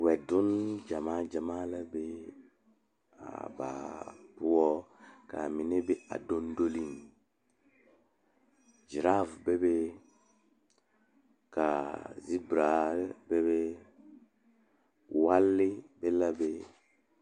Nasaamine la zeŋ die poɔ a pouri ba ŋmene a vaare wagyere kyɛ uri vūūnee a die poɔ kaa zie a kyaane be la be.